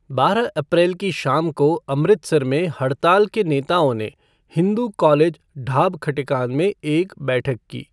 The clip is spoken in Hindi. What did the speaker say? बारह अप्रैल की शाम को अमृतसर में हड़ताल के नेताओं ने हिंदू कॉलेज ढाब खटिकान में एक बैठक की।